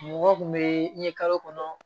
Mɔgɔ tun bɛ ye kalo kɔnɔ